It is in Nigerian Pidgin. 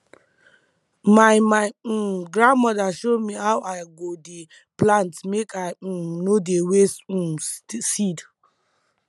my my um grandma show me how i go dey plant make i um no dey waste um seed